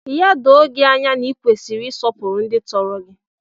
Ya doo gị anya na ị kwesịrị ịsọpụrụ ndị tọrọ gị!